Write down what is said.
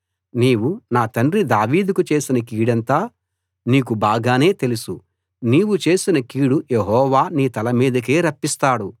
నీవు నా తండ్రి దావీదుకు చేసిన కీడంతా నీకు బాగానే తెలుసు నీవు చేసిన కీడు యెహోవా నీ తల మీదికే రప్పిస్తాడు